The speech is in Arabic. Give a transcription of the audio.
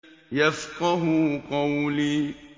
يَفْقَهُوا قَوْلِي